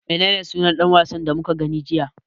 Menene sunan ɗan wasan da muka gani jiya?